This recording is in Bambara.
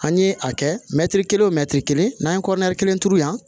An ye a kɛ mɛtiri kelen o mɛtiri kelen n'an ye kelen turu yan